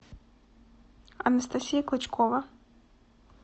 анастасия клычкова